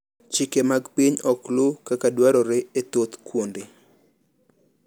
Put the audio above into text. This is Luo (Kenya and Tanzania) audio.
chike mag piny ok luw kaka dwarore e thoth kuonde